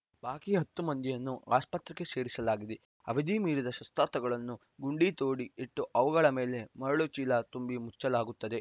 ಬಾಕಿ ಹತ್ತು ಮಂದಿಯನ್ನು ಆಸ್ಪತ್ರೆಗೆ ಸೇರಿಸಲಾಗಿದೆ ಅವಧಿ ಮೀರಿದ ಶಸ್ತ್ರಾಸ್ತ್ರಗಳನ್ನು ಗುಂಡಿ ತೋಡಿ ಇಟ್ಟು ಅವುಗಳ ಮೇಲೆ ಮರಳು ಚೀಲ ತುಂಬಿ ಮುಚ್ಚಲಾಗುತ್ತದೆ